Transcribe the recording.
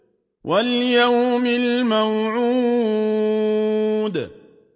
وَالْيَوْمِ الْمَوْعُودِ